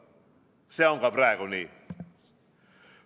See on ka praegu nii.